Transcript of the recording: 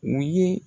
U ye